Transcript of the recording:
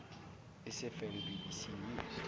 sfn bbc news